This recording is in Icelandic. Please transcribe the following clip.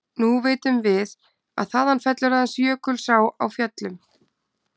Nú vitum við, að þaðan fellur aðeins Jökulsá á Fjöllum.